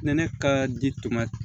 Ne ne ka di tuma